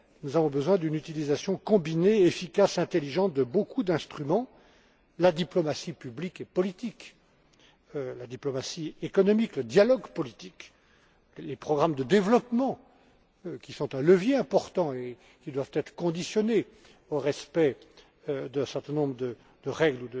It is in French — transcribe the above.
Nous avons besoin d'une utilisation combinée, efficace, intelligente de nombreux instruments la diplomatie publique et politique, la diplomatie économique, le dialogue politique, les programmes de développement qui sont un levier important et qui doivent être conditionnés au respect d'un certain nombre de règles